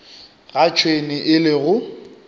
ga tšhwene e le go